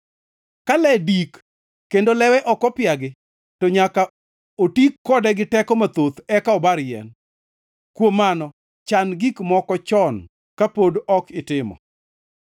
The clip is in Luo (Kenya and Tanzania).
Ka le dik kendo lewe ok opiagi, to nyaka oti kode gi teko mathoth eka obar yien, kuom mano chan gik moko chon kapod ok itimo.